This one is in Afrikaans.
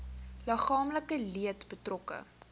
liggaamlike leed betrokke